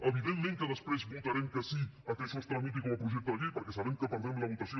evidentment que després votarem que sí que això es tramiti com a projecte de llei perquè sabem que perdrem la votació